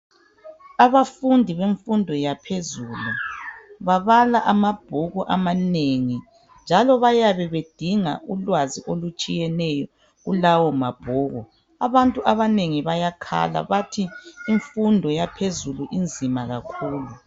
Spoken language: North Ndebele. Abafundi bemfundo yaphezulu babala amabhuku amanengi njalo bayabe bedinga ulwazi olutshiyeneyo kulawo mabhuku. Abantu abanengi bayakhala bathi imfundo yaphezulu inzima kakhulu.